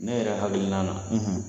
Ne yɛrɛ hakilina na